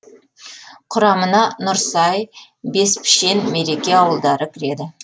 құрамына нұрсай беспішен мереке ауылдары кіреді